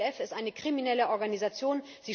Die IPPF ist eine kriminelle Organisation.